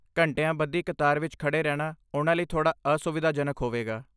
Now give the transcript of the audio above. ਘੰਟਿਆਂ ਬੱਧੀ ਕਤਾਰ ਵਿੱਚ ਖੜ੍ਹੇ ਰਹਿਣਾ ਉਹਨਾਂ ਲਈ ਥੋੜ੍ਹਾ ਅਸੁਵਿਧਾਜਨਕ ਹੋਵੇਗਾ।